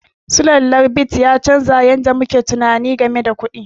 Sulallar bit ya canza yadda muke tunani game da kuɗi.